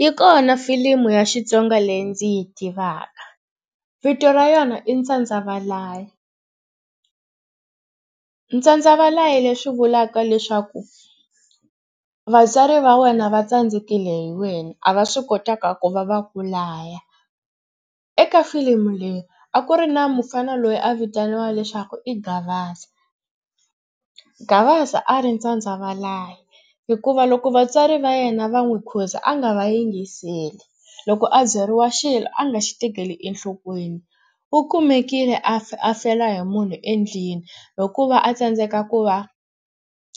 Yi kona filimi ya Xitsonga leyi ndzi yi tivaka vito ra yona i Tsandza valayi. Tsandza valayi leswi vulaka leswaku vatswari va wena va tsandzekile hi wena a va swi kotanga ku va va ku laya. Eka filimi leyi a ku ri na mufana loyi a vitaniwaka leswaku i Gavaza. Gavaza a ri ntsandza valayi hikuva loko vatswari va yena va n'wi khuza a nga va yingiseli. Loko a byeriwa xilo a nga xi tekeli enhlokweni. U kumekile a a fela hi munhu endlwini hikuva a tsandzeka ku va